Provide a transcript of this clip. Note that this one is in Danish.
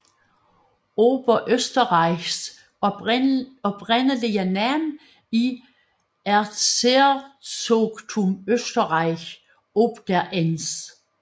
Oberösterreichs oprindelige navn er Erzherzogtum Österreich ob der Enns